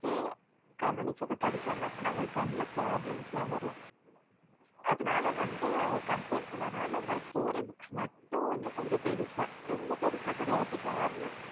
இத வந்து கவனிச்சு படிச்சாங்கன்னா கண்ணுல problem வரும் அதனால அவங்க வந்து comline பன்னதுனால நாங்க story மட்டும் கொஞம் பெருசா